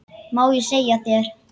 Má ég segja þér.